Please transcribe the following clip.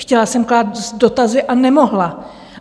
Chtěla jsem klást dotazy a nemohla.